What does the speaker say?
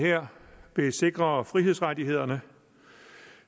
her vil sikre frihedsrettighederne